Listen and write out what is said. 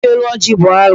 Nwaanyị ili elu ọjị bụ alụ.